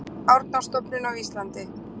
Árnastofnun á Íslandi.